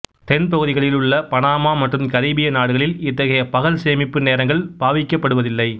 தென்பகுதிகளில் உள்ள பனாமா மற்றும் கரீபிய நாடுகளில் இத்தகைய பகல்சேமிப்பு நேரங்கள் பாவிக்கப்படுவதில்லை